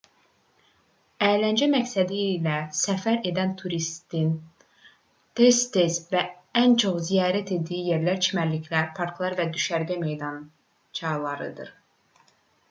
əyləncə məqsədi ilə səfər edən turistlərin tez-tez və ən çox ziyarət etdiyi yerlər çimərliklər parklar və düşərgə meydançalarıdır